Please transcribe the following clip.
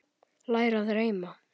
Læra að reima